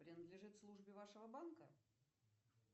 принадлежит службе вашего банка